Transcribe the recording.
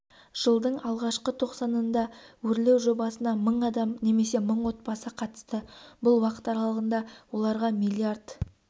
жылдың алғашқы тоқсанында өрлеу жобасына мың адам немесе мың отбасы қатысты бұл уақыт аралығында оларға млрд